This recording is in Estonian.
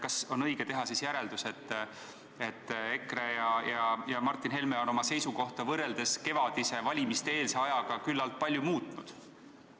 Kas on õige teha järeldus, et EKRE ja Martin Helme on oma seisukohta võrreldes kevadise, valimiste-eelse ajaga küllalt palju muutnud?